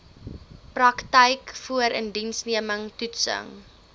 praktyk voorindiensneming toetsing